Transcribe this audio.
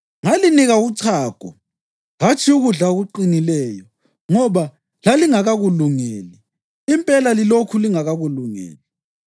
Ngalinika uchago, hatshi ukudla okuqinileyo, ngoba lalingakakulungeli. Impela lilokhu lingakakulungeli.